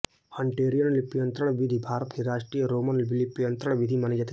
Hunterian लिप्यन्तरण विधि भारत की राष्ट्रीय रोमन लिप्यन्तरण विधि मानी जाती है